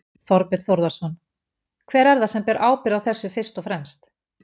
Þorbjörn Þórðarson: Hver er það sem ber ábyrgð á þessu fyrst og fremst?